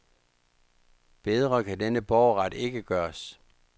Bedre kan denne borgerret ikke gøres.